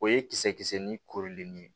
O ye kisɛ kisɛ ni kooli ni ye